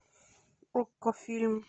окко фильм